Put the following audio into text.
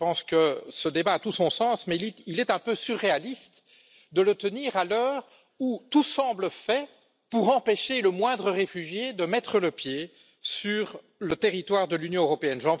Je pense que ce débat a tout son sens, mais il est un peu surréaliste de le tenir à l'heure où tout semble fait pour empêcher le moindre réfugié de mettre le pied sur le territoire de l'Union européenne.